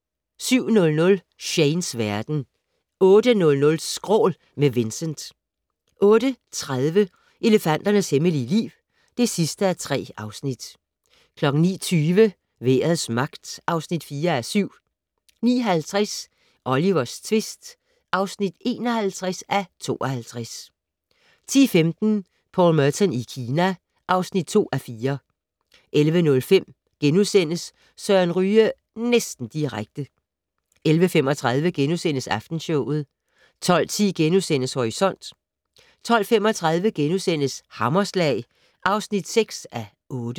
07:00: Shanes verden 08:00: Skrål - med Vincent 08:30: Elefanternes hemmelige liv (3:3) 09:20: Vejrets magt (4:7) 09:50: Olivers tvist (51:52) 10:15: Paul Merton i Kina (2:4) 11:05: Søren Ryge - næsten direkte * 11:35: Aftenshowet * 12:10: Horisont * 12:35: Hammerslag (6:8)*